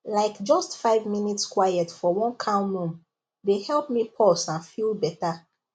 like just five minutes quiet for one calm room dey help me pause and feel better